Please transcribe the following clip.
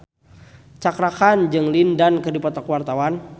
Cakra Khan jeung Lin Dan keur dipoto ku wartawan